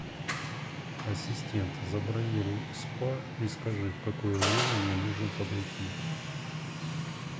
ассистент забронируй спа и скажи в какое время мне нужно подойти